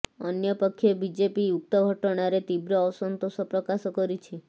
ଅନ୍ୟପକ୍ଷେ ବିଜେପି ଉକ୍ତ ଘଟଣାରେ ତୀବ୍ର ଅସନ୍ତୋଷ ପ୍ରକାଶ କରିଛି